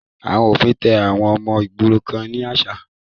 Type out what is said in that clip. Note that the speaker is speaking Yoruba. Ọwọ́ òfin tẹ àwọn ọmọ ìgboro kan ni àná